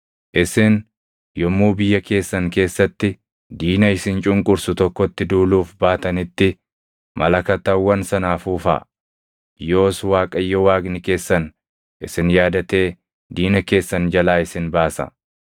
Isin yommuu biyya keessan keessatti diina isin cunqursu tokkotti duuluuf baatanitti malakatawwan sana afuufaa. Yoos Waaqayyo Waaqni keessan isin yaadatee diina keessan jalaa isin baasa.